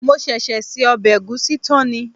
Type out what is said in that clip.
Mo ṣẹ̀ṣẹ̀ se ọbẹ̀ ẹ̀gúsí tán ni